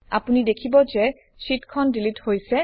আপুনি দেখিব যে শ্বিটখন ডিলিট হৈছে